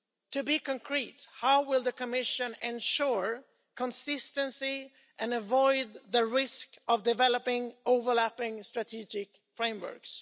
To be concrete, how will the Commission ensure consistency and avoid the risk of developing overlapping strategic frameworks?